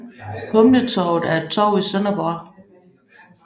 Humletorvet er et torv i Sønderborg